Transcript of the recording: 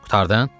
Qurtardın?